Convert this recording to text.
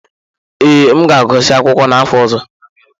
Ee, M ga-agụsị akwụkwọ n'afọ ọzọ.